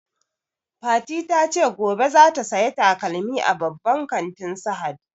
Fati ta ce gobe zata saya takalmi a babban kantin Sahad